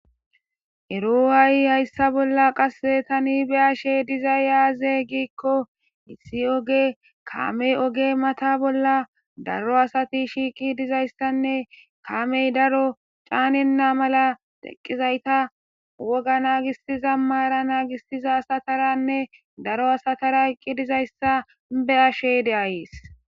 ero haay hayssa bolla qase tani be'ashe dizay yaaze giikko issi oge kamey oge mata bolla daro asati shiiqi dizayssanne kamey daro caanenna mala teqqizayta woga naagistiza maara naagistiza sataranne daro asatara eqqi dizayssa be'ashey de'ayes